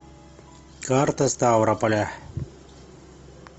карта ставрополя